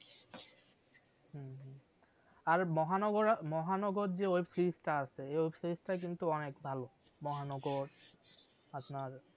আর মহানগর মহানগর যে web series টা আসে ওই web series টা কিন্তু অনেক ভালো মহানগর আপনার